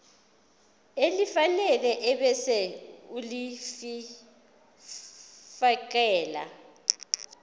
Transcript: elifanele ebese ulifiakela